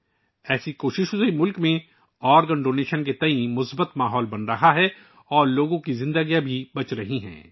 اس طرح کی کوششوں کی وجہ سے ملک میں اعضا کے عطیات کے حوالے سے مثبت ماحول پیدا ہو رہا ہے اور لوگوں کی زندگیاں بھی بچائی جا رہی ہیں